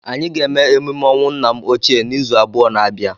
Anyị ga-eme emume ọnwụ nna m ochie n'izu abụọ na abia.